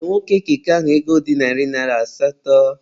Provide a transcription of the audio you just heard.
Nye nwoke keke ahụ ego dị narị naịra asatọ!